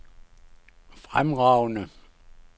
fremragende